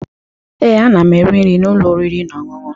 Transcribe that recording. Ee, ana m eri nri n'ụlọ oriri na ọṅụṅụ